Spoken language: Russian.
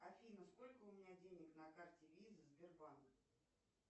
афина сколько у меня денег на карте виза сбербанка